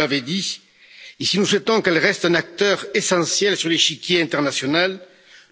Vous nous l'avez dit, si nous souhaitons qu'elle reste un acteur essentiel sur l'échiquier international,